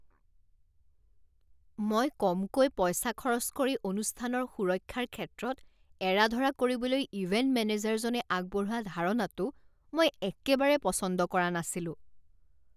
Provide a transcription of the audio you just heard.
মই কমকৈ পইচা খৰচ কৰি অনুষ্ঠানৰ সুৰক্ষাৰ ক্ষেত্ৰত এৰা ধৰা কৰিবলৈ ইভেণ্ট মেনেজাৰজনে আগবঢ়োৱা ধাৰণাটো মই একেবাৰে পচন্দ কৰা নাছিলোঁ।